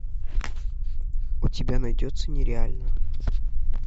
у тебя найдется нереально